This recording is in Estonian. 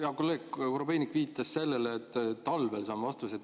Hea kolleeg Korobeinik viitas sellele, et talvel saan vastuse.